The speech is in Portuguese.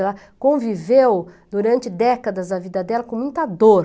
Ela conviveu durante décadas da vida dela com muita dor.